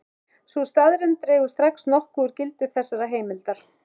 Sú staðreynd dregur strax nokkuð úr gildi þessarar heimildar.